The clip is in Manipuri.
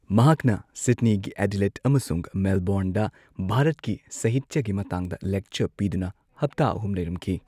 ꯃꯍꯥꯛꯅ ꯁꯤꯗꯅꯤ ꯒꯤ ꯑꯦꯗꯤꯂꯦꯗ ꯑꯃꯁꯨꯡ ꯃꯦꯜꯕꯣꯔꯟꯗ ꯚꯥꯔꯠꯀꯤ ꯁꯥꯍꯤꯇ꯭ꯌꯒꯤ ꯃꯇꯥꯡꯗ ꯂꯦꯛꯆꯔ ꯄꯤꯗꯨꯅ ꯍꯞꯇꯥ ꯑꯍꯨꯝ ꯂꯩꯔꯝꯈꯤ꯫